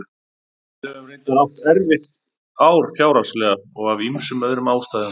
Við höfum reyndar átt erfitt ár fjárhagslega og af ýmsum öðrum ástæðum.